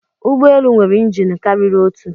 Ụgbọ elu nwere injin karịrị otu